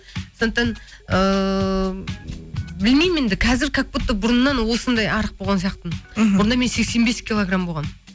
сондықтан ыыы білмеймін енді қазір как будто бұрыннан осындай арық болған сияқтымын мхм бұрында мен сексен бес килограмм болғанмын